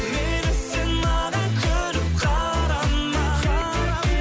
мейлі сен маған күліп қарама